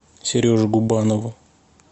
сереже губанову